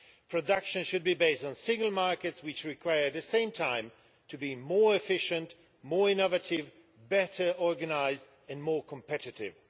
Production should be based on single markets which require at the same time to be more efficient, more innovative, better organised and more competitive.